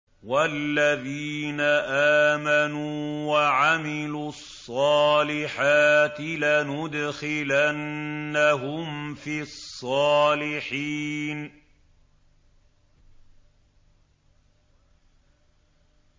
وَالَّذِينَ آمَنُوا وَعَمِلُوا الصَّالِحَاتِ لَنُدْخِلَنَّهُمْ فِي الصَّالِحِينَ